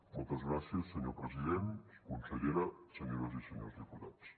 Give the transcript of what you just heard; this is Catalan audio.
moltes gràcies senyor president consellera senyores i senyors diputats